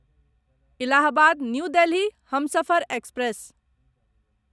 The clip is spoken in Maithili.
Allahabad new Delhi Humsafar express